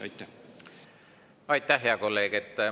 Aitäh, hea kolleeg!